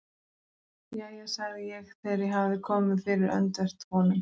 Jæja sagði ég þegar ég hafði komið mér fyrir öndvert honum.